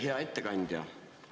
Hea ettekandja!